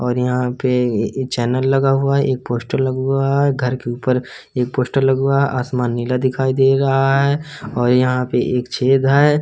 और यहाँ पे चैनल लगा हुआ है एक पोस्टर लगा हुआ हैं घर के ऊपर एक पोस्टर लगा हुआ है आसमान नीला दिखायी दे रहा है और यहाँ पर एक छेद है।